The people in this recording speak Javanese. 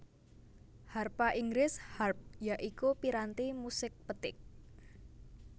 Harpa Inggris Harp ya iku piranti musik petik